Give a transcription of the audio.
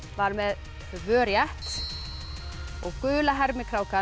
var með tvö rétt og gula